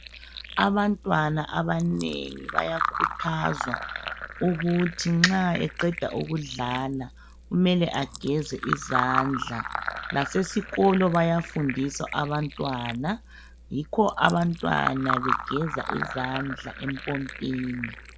Abantwana abanengi bayakhuthazwa ukuthi nxa eqeda ukudlala kumele ageze izandla. Lasesikolo bayafundisa abantwana, yikho abantwana begeza izandla empompini.